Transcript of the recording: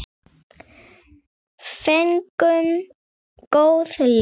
Fengum góð laun.